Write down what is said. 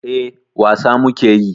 Eh, wasa muke yi.